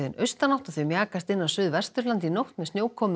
austanátt og þau mjakast inn á Suðvesturland í nótt með snjókomu